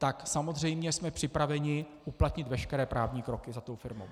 - Tak samozřejmě jsme připraveni uplatnit veškeré právní kroky za tou firmou.